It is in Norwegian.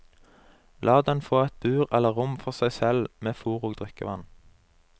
La den få et bur eller rom for seg selv med fôr og drikkevann.